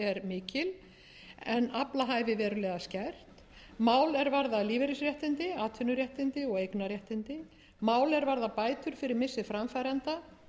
mikil en aflahæfi verulega skert mál er varða lífeyrisréttindi atvinnuréttindi og eignarréttindi mál er varða bætur fyrir missi